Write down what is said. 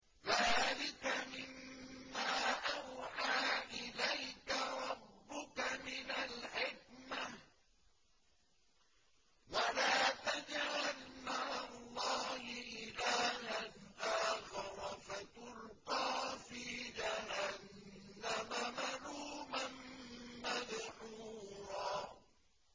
ذَٰلِكَ مِمَّا أَوْحَىٰ إِلَيْكَ رَبُّكَ مِنَ الْحِكْمَةِ ۗ وَلَا تَجْعَلْ مَعَ اللَّهِ إِلَٰهًا آخَرَ فَتُلْقَىٰ فِي جَهَنَّمَ مَلُومًا مَّدْحُورًا